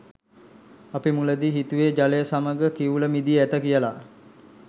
අපි මුලදී හිතුවේ ජලය සමග කිවුල මිදී ඇත කියලා.